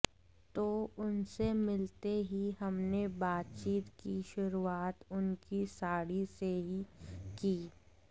तो उनसे मिलते ही हमने बातचीत की शुरूआत उनकी साड़ी से ही की